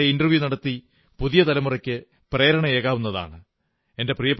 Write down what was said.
അവർ ഇത്തരം ആളുകളെ ഇന്റർവ്യൂ നടത്തി പുതിയ തലമുറയ്ക്ക് പ്രേരണയേകാവുന്നതാണ്